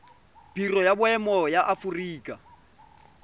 biro ya boemo ya aforika